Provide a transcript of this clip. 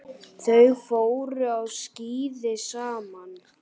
Þau fóru á skíði saman.